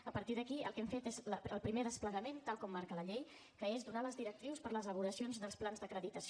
a partir d’aquí el que hem fet és el primer desplegament tal com marca la llei que és donar les directrius per les elaboracions dels plans d’acreditació